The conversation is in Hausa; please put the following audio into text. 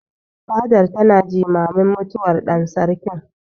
Fadar tana jimamin mutuwar ɗan Sarkin.